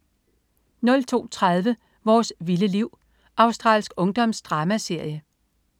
02.30 Vores vilde liv. Australsk ungdomsdramaserie